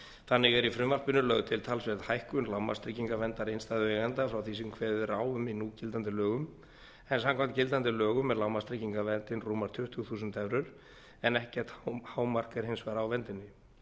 þannig er í frumvarpinu lögð til talsverð hækkun lágmarkstryggingaverndar innstæðueigenda frá því sem kveðið er á um í núgildandi lögum en samkvæmt gildandi lögum er lágmarkstryggingaverndin rúmar tuttugu þúsund evrur en ekkert hámark er hins vegar á verndinni